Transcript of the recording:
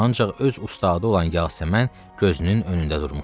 Ancaq öz ustadı olan Yasəmən gözünün önündə durmuşdu.